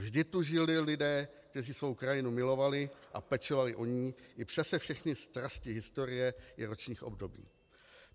Vždy tu žili lidé, kteří svou krajinu milovali a pečovali o ni i přes všechny strasti historie i ročních období.